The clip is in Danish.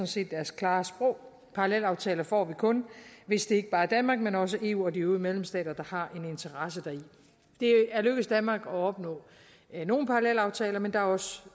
set deres klare sprog parallelaftaler får vi kun hvis det ikke bare er danmark men også er eu og de øvrige medlemslande der har en interesse deri det er lykkedes danmark at opnå nogle parallelaftaler men der er også